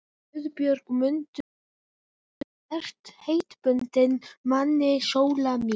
GUÐBJÖRG: Mundu að þú ert heitbundin manni, Sóla mín.